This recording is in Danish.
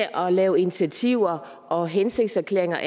lave initiativer og hensigtserklæringer og